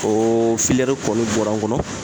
Oo filiyɛri kɔni bɔra n kɔnɔ